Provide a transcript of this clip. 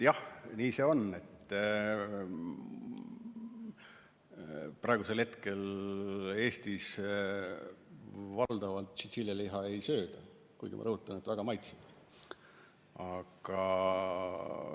Jah, nii see on, et praegusel hetkel Eestis valdavalt tšintšiljaliha ei sööda, kuigi, ma rõhutan, see on väga maitsev.